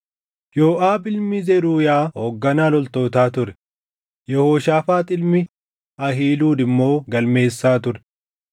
Yooʼaab ilmi Zeruuyaa hoogganaa loltootaa ture; Yehooshaafaax ilmi Ahiiluud immoo galmeessaa ture;